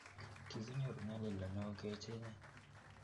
kikinyoru nyalilda neoo kechenye